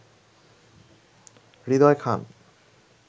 Hridoy Khan